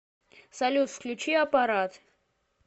салют включи апарат